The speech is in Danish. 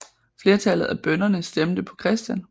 Flertallet af bønderne stemte på Chr